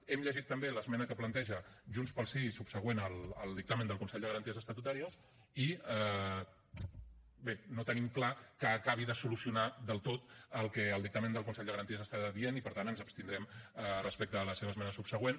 hem llegit també l’esmena que planteja junts pel sí subsegüent al dictamen del consell de garanties estatutàries i bé no tenim clar que acabi de solucionar del tot el que el dictamen del consell de garanties està dient i per tant ens abstindrem respecte a la seva esmena subsegüent